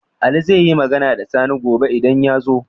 Ali zaiyi Magana da Sani gobe idan yazo?